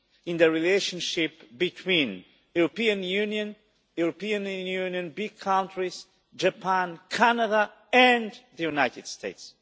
in the relationship between the European Union, European Union big countries, Japan, Canada and the United States.